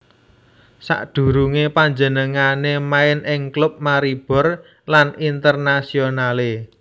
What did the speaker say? Sadurungé panjenengané main ing klub Maribor lan Internazionale